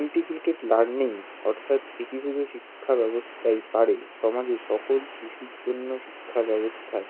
integrataed learning অর্থাৎ একীভূত শিক্ষা ব্যাবস্থাই পারে সমাজের সকল শিশুর জন্য শিক্ষা ব্যাবস্থায়